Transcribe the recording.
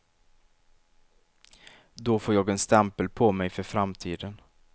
Då får jag en stämpel på mig för framtiden.